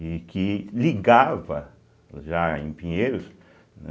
E que ligava, já em Pinheiros, né